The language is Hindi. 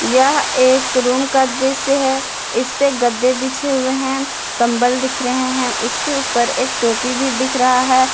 यह एक रूम का दृश्य है इसपे गद्दे बिछे हुए हैं कंबल दिख रहे हैं उसके उपर एक टोपी भी दिख रहा है।